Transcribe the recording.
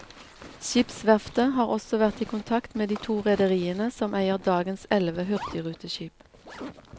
Skipsverftet har også vært i kontakt med de to rederiene som eier dagens elleve hurtigruteskip.